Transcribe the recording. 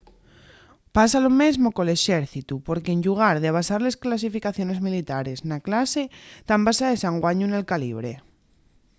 pasa lo mesmo col exércitu porque en llugar de basar les clasificaciones militares na clase tán basaes anguaño nel calibre